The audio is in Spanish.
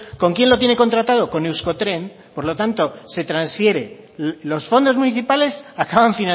con quién lo tiene contratado con euskotren por lo tanto se transfiere los fondos municipales acaban